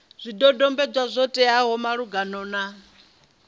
zwidodombedzwa zwo teaho malugana na